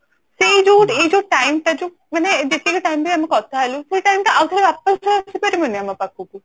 ସେଇ ଯୋଉ ଏଇ ଯୋଉ time ଟା ଯୋଉ ମାନେ ଯେତିକି time bi ଆମେ କଥା ହେଲୁ ସେଇ time ଟା ଆଉ ଥରେ ୱାପସ ବି ଆସିପରିବନି ଆଉ ଆମ ପାଖକୁ